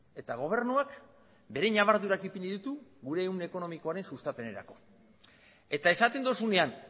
eta gobernuak bere ñabardurak ipini ditu gure ehun ekonomikoaren sustapenerako eta esaten duzunean